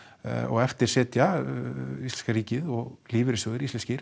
eftir sitja íslenska ríkið og lífeyrissjóðir íslenskir